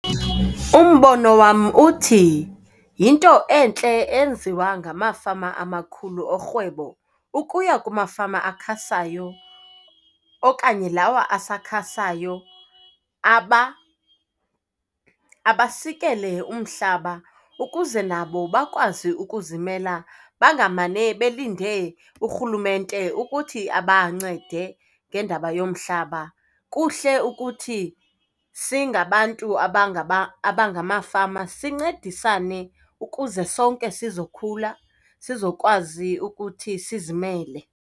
Umbono wam uthi yinto entle enziwa ngamafama amakhulu orhwebo ukuya kumafama akhasayo okanye lawo asakhasayo abasikele umhlaba ukuze nabo bakwazi ukuzimela. Bangamane belinde urhulumente ukuthi abancende ngendaba yomhlaba. Kuhle ukuthi singabantu abangamafama sincedisane ukuze sonke sizokhula, sizokwazi ukuthi sizimele.